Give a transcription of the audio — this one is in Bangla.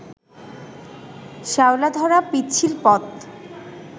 শ্যাওলাধরা পিচ্ছিল পথ